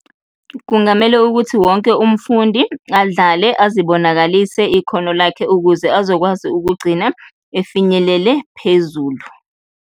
Kungamele ukuthi wonke umfundi adlale, azibonakalise ikhono lakhe ukuze azokwazi ukugcina efinyelele phezulu.